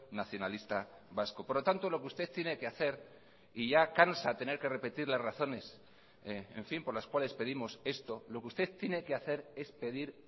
nacionalista vasco por lo tanto lo que usted tiene que hacer y ya cansa tener que repetir las razones en fin por las cuales pedimos esto lo que usted tiene que hacer es pedir